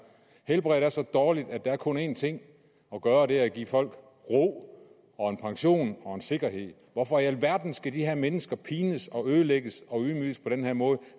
helbredet er så dårligt at der kun er én ting at gøre og det er at give folk ro og en pension og en sikkerhed hvorfor i alverden skal de her mennesker pines og ødelægges og ydmyges på den her måde